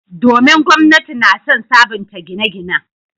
Domin, gwamnati na son sabunta gine-ginen.